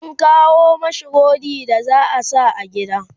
an kawo mashi rodi da za'a sa a gini